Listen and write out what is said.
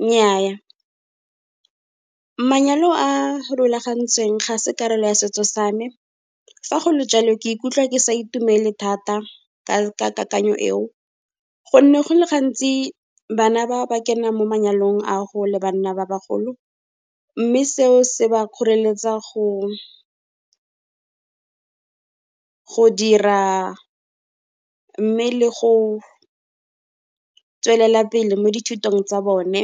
Nnyaa, manyalo a a rulagantsweng ga e se karolo ya setso sa me, fa go le jwalo ke ikutlwa ke sa itumele thata ka kakanyo eo, gonne go le gantsi bana ba ba kenang mo manyalong a go le banna ba bagolo, mme seo se ba kgoreletsa go dira, mme le go tswelela pele mo dithutong tsa bone.